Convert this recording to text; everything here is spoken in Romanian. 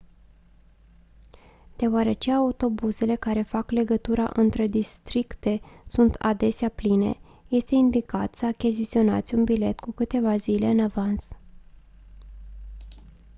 deoarece autobuzele care fac legătura între districte sunt adesea pline este indicat să achiziționați un bilet cu câteva zile în avans